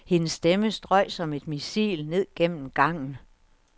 Hendes stemme strøg som et missil ned gennem gangen.